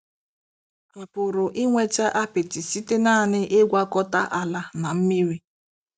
A pụrụ inweta apịtị site nanị ịgwakọta ala na mmiri.